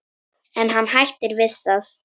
En hann hættir við það.